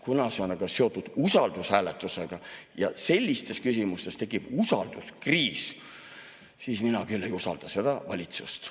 Kuna see aga on seotud usaldushääletusega ja sellistes küsimustes tekib usalduskriis, siis mina küll ei usalda seda valitsust.